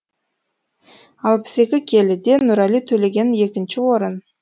алпыс екі келіде нұрали төлеген екінші орын